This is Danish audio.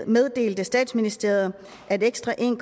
meddelte statsministeriet at ekstra en